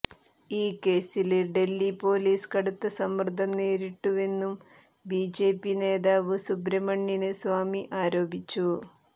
ഈ കേസില് ഡല്ഹി പോലീസ് കടുത്ത സമ്മര്ദ്ദം നേരിട്ടിരുന്നുവെന്ന് ബി ജെ പി നേതാവ് സുബ്രഹ്മണ്യന് സ്വാമി ആരോപിച്ചു